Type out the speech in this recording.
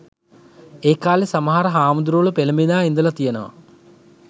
ඒකාලෙ සමහර හාමුදුරුවරු පෙලඹිලා ඉදල තියනව